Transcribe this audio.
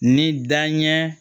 Ni dan ɲɛ